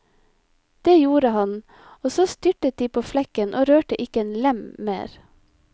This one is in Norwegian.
Det gjorde han, og så styrtet de på flekken og rørte ikke en lem mer.